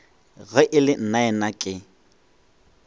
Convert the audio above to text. ge e le nnaena ke